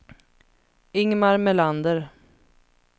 Ingmar Melander